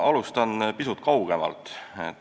Ma alustan pisut kaugemalt.